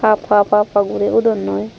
haap haap haap guri udondoi.